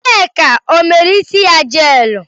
Nneka ọ mere isi ya jeelụ?